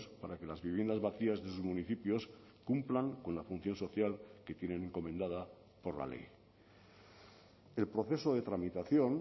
para que las viviendas vacías de sus municipios cumplan con la función social que tienen encomendada por la ley el proceso de tramitación